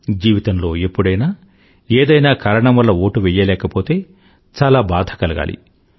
జీవితంలో ఎప్పుడైనా ఏదైనా కారణం వల్ల ఓటు వెయ్యలేకపోతే చాలా బాధ కలగాలి